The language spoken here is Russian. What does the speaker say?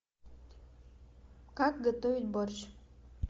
как готовить борщ